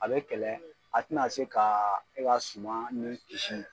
A bɛ kɛlɛ a tina a se ka, e ka suman ni kisi